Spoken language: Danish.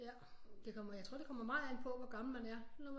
Ja det kommer jeg tror det kommer meget an på hvor gammel man er